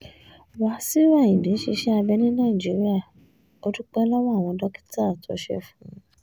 wàṣíù ayíǹde ṣiṣẹ́ abẹ ní nàìjíríà ò dúpẹ́ lọ́wọ́ àwọn dókítà tó ṣe é fún un